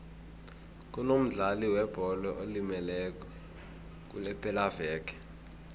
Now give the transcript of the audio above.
kunomdlali webholo olimeleko kulepelaveke